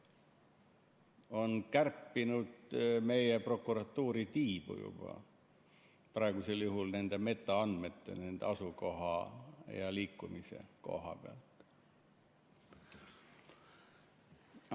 Ta on juba kärpinud meie prokuratuuri tiibu nende metaandmete ehk asukoha ja liikumise koha pealt.